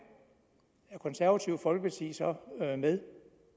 det konservative folkeparti så med